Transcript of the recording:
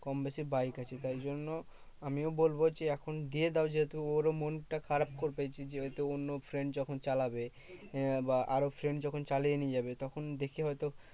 কমবেশি বাইক আছে। তাই জন্য আমিও বলবো যে এখন দিয়ে দাও যেহেতু ওরও মনটা খারাপ করবে যে, যেহেতু অন্য friend যখন চালাবে আহ বা আরও friend যখন চালিয়ে নিয়ে যাবে তখন দেখে হয়তো